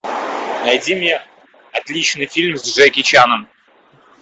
найди мне отличный фильм с джеки чаном